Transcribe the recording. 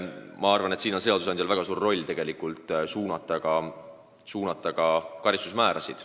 Ma arvan, et siin on seadusandjal väga suur roll, sest ta saab suunata ka karistusmäärasid.